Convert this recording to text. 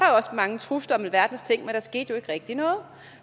mange trusler om alverdens ting men der skete jo ikke rigtig noget